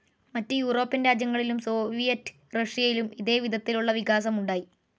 മറ്റ് യൂറോപ്യൻ രാജ്യങ്ങളിലും സോവിയറ്റ്‌ റഷ്യയിലും ഇതേ വിധത്തിലുള്ള വികാസം ഉണ്ടായി.